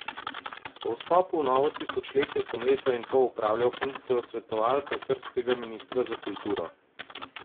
Po vstopu v novo tisočletje sem leto in pol opravljal funkcijo svetovalca srbskega ministra za kulturo.